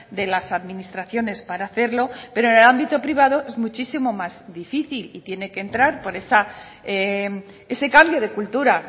de las administraciones para hacerlo pero en el ámbito privado es muchísimo más difícil y tiene que entrar ese cambio de cultura